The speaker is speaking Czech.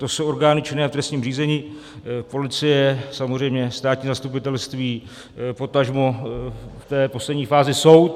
To jsou orgány činné v trestním řízení - policie, samozřejmě státní zastupitelství, potažmo v té poslední fázi soud.